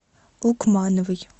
лукмановой